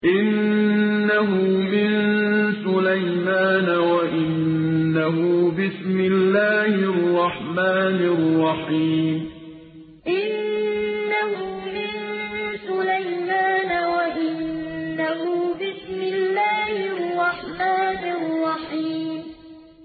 إِنَّهُ مِن سُلَيْمَانَ وَإِنَّهُ بِسْمِ اللَّهِ الرَّحْمَٰنِ الرَّحِيمِ إِنَّهُ مِن سُلَيْمَانَ وَإِنَّهُ بِسْمِ اللَّهِ الرَّحْمَٰنِ الرَّحِيمِ